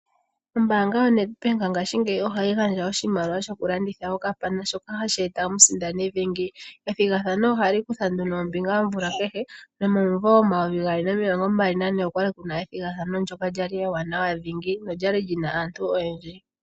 Ombaanga yo Nedbank ngashingeyi ohayi gandja oshimaliwa shoku landitha okapana shoka hashi eta omusindani dhingi . Ethigathano ohali kutha nduno ombinga omvula kehe no momumvo omayovi gaali nomilongo mbali nane okwali kuna ethigathano ndjoka lyali ewanawa dhingi nolyali lina aantu oyendji